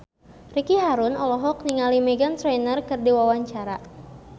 Ricky Harun olohok ningali Meghan Trainor keur diwawancara